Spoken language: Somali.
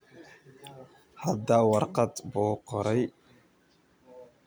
Hadda warqad buu qoray.